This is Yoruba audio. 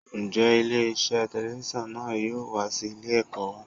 Ǹjẹ́ ilé iṣẹ́ telifíṣàn náà yóò wá sí ilé ẹ̀kọ́ wa?